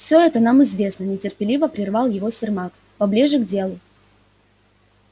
все это нам известно нетерпеливо прервал его сермак поближе к делу